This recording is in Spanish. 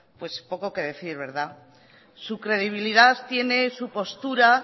pues poco que decir verdad su credibilidad tiene su postura